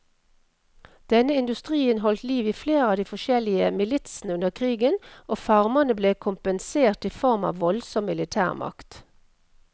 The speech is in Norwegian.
Denne industrien holdt liv i flere av de forskjellige militsene under krigen, og farmerne ble kompensert i form av voldsom militærmakt.